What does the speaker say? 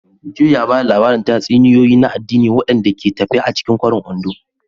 Joy ya ba da labarin tatsuniyoyi na addini waɗanda ke tafe a cikin kwarin Ondo.